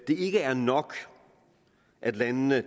ikke er nok at landene